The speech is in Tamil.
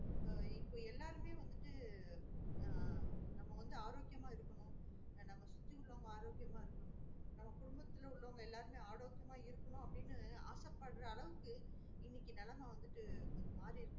So இப்ப எல்லாருமே வந்துட்டு ஆஹ் நம்ம வந்து ஆரோக்கியம்மா இருக்கணும் நம்மல சுத்தி உள்ளவங்க ஆரோக்கியம்மா இருக்கணும் நம்ம குடும்பத்தில் உள்ளவங்க எல்லாமே ஆரோக்கியாம இருக்கணும் அப்டின்னு ஆசப்படுற அளவுக்கு இனக்கு நெலம வந்துட்டு கொஞ்சம் மாறி இருக்கு